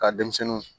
Ka denmisɛnninw